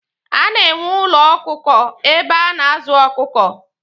A na-enwe ụlọ ọkụkọ ebe a na-azụ ọkụkọ.